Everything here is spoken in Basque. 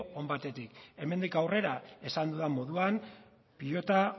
on batekin hemendik aurrera esan dudan moduan pilota